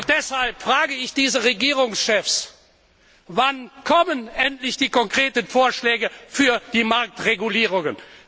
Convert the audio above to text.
Deshalb frage ich diese Regierungschefs Wann kommen endlich die konkreten Vorschläge für die Marktregulierungen?